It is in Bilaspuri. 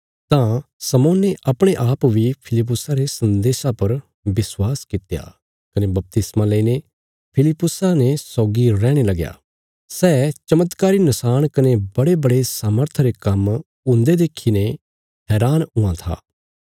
तां शमौने अपणे आप बी फिलिप्पुसा रे सन्देशा पर विश्वास कित्या कने बपतिस्मा लईने फिलिप्पुसा ने सौगी रैहणे लगया सै चमत्कारी नशाण कने बड़ेबड़े सामर्था रे काम्म हुंदे देखीने हैरान हुआं था